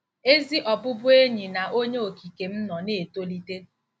Ezi ọbụbụenyi na Onye Okike m nọ na-etolite!